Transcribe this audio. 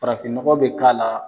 Farafinnɔgɔ be k'a la